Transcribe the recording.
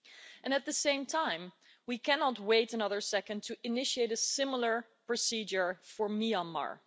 And at the same time we cannot wait another second to initiate a similar procedure for Myanmar.